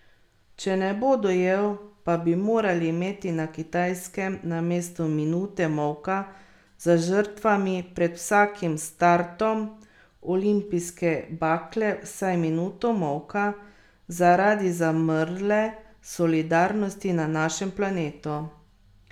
Če ne bo dojel, pa bi morali imeti na Kitajskem namesto minute molka za žrtvami pred vsakim startom olimpijske bakle vsaj minuto molka zaradi zamrle solidarnosti na našem planetu.